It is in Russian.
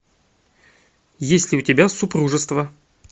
есть ли у тебя супружество